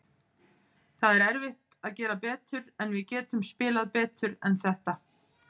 Það er erfitt að gera betur, en við getum spilað betur en þetta.